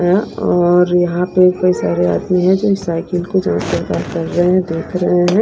या और यहां पे कोई सारे आदमी है जो साइकिल को कर रहे हैं देख रहे हैं।